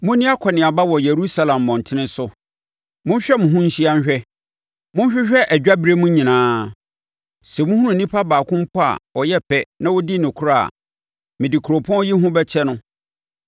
“Monni akɔneaba wɔ Yerusalem mmɔntene so, monhwɛ mo ho nhyia nhwɛ, monhwehwɛ adwaberem nyinaa. Sɛ mohunu onipa baako mpo a ɔyɛ pɛ na ɔdi nokorɛ a, mede kuropɔn yi ho bɛkyɛ no.